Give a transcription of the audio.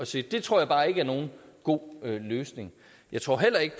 se det tror jeg bare ikke er nogen god løsning jeg tror heller ikke